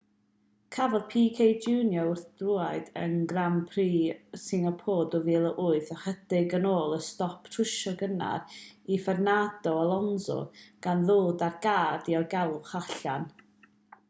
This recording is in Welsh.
cafodd pique jr wrthdrawiad yn grand prix singapore yn 2008 ychydig ar ôl y stop trwsio cynnar i fernando alonso gan ddod â'r car diogelwch allan